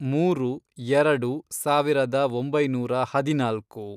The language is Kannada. ಮೂರು, ಎರಡು, ಸಾವಿರದ ಒಂಬೈನೂರ ಹದಿನಾಲ್ಕು